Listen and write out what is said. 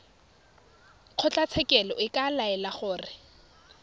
kgotlatshekelo e ka laela gore